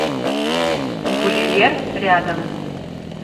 гулливер рядом